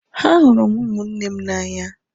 Ahụrụ m ụmụnne m n'anya